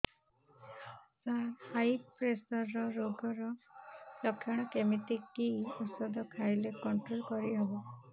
ସାର high pressure ରୋଗର ଲଖଣ କେମିତି କି ଓଷଧ ଖାଇଲେ କଂଟ୍ରୋଲ କରିହେବ